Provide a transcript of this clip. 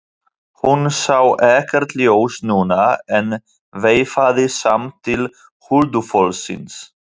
Hún sá ekkert ljós núna en veifaði samt til huldufólksins.